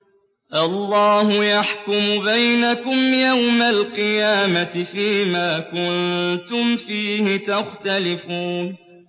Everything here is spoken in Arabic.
اللَّهُ يَحْكُمُ بَيْنَكُمْ يَوْمَ الْقِيَامَةِ فِيمَا كُنتُمْ فِيهِ تَخْتَلِفُونَ